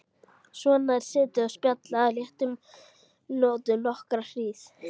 Svona er setið og spjallað á léttum nótum nokkra hríð.